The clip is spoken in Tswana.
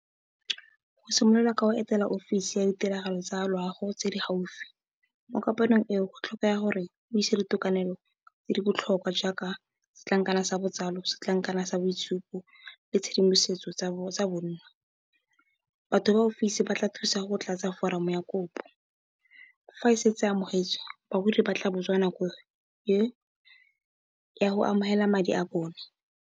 O simolola ka go etela ofisi ya ditiragalo tsa loago tse di gaufi mo kopanong eo go tlhokega gore o ise ditokanelo tse di botlhokwa jaaka setlankana sa botsalo, setlankana sa boitshupo le tshedimosetso tsa bonno. Batho ba ofisi ba tla thusa go tlatsa foromo ya kopo, fa e setse amogetswe bagodi ba tla botswa nako ya go amogela madi a bone.